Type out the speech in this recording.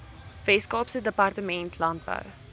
weskaapse departement landbou